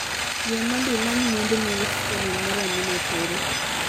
Yie mondo imany mwandu ma restoran mar Amina tero